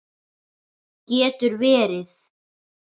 Getur verið?